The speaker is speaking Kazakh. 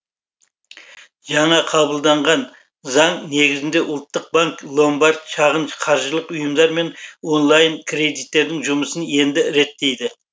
жаңа қабылданған заң негізінде ұлттық банк ломбард шағын қаржылық ұйымдар мен онлайн кредиттердің жұмысын енді реттейді